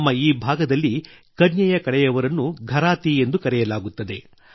ನಮ್ಮ ಈ ಭಾಗದಲ್ಲಿ ಕನ್ಯೆಯ ಕಡೆಯವರನ್ನು ಘರಾತಿ ಎಂದು ಕರೆಯಲಾಗುತ್ತದೆ